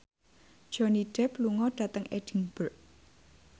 Johnny Depp lunga dhateng Edinburgh